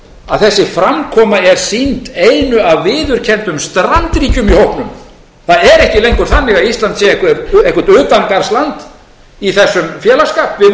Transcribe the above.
að þessi framkvæmd er sýnd einu af viðurkenndum strandríkjum í hópnum það er ekki lengur þannig að ísland sé eitthvert utangarðsland í þessum félagsskap við vorum tekin inn tvö